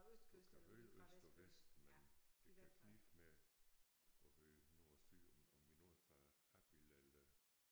Du kan høre øst og vest men det kan knibe med at høre nord og syd om om vi nord for Abild eller